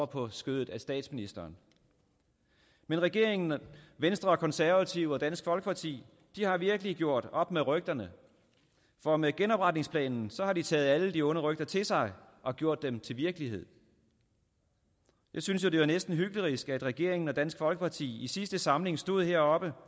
på skødet af statsministeren men regeringen venstre og konservative og dansk folkeparti har virkelig gjort op med rygterne for med genopretningsplanen har de taget alle de onde rygter til sig og gjort dem til virkelighed jeg synes jo næsten hyklerisk at regeringen og dansk folkeparti i sidste samling stod heroppe